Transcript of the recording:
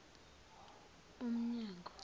umnyango